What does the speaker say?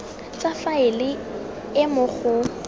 tsa faele e mo go